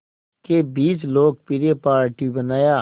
के बीच लोकप्रिय पार्टी बनाया